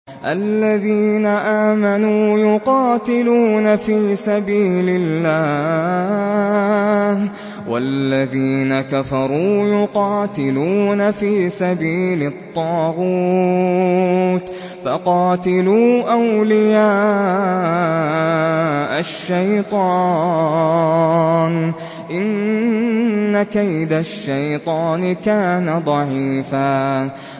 الَّذِينَ آمَنُوا يُقَاتِلُونَ فِي سَبِيلِ اللَّهِ ۖ وَالَّذِينَ كَفَرُوا يُقَاتِلُونَ فِي سَبِيلِ الطَّاغُوتِ فَقَاتِلُوا أَوْلِيَاءَ الشَّيْطَانِ ۖ إِنَّ كَيْدَ الشَّيْطَانِ كَانَ ضَعِيفًا